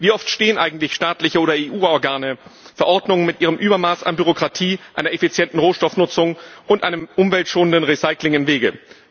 Wie oft stehen eigentlich staatliche oder EU Organe, Verordnungen mit ihrem Übermaß an Bürokratie einer effizienten Rohstoffnutzung und einem umweltschonenden Recycling im Wege?